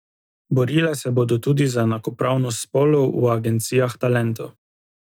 Borile se bodo tudi za enakopravnost spolov v agencijah talentov.